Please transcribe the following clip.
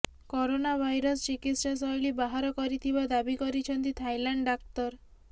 corona virus ଚିକିତ୍ସା ଶୈଳୀ ବାହାର କରିଥିବା ଦାବି କରିଛନ୍ତି ଥାଇଲାଣ୍ଡ ଡାକ୍ତର